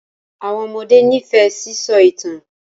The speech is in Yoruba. Àwọn ọmọdé n'ifẹ sisọ itan.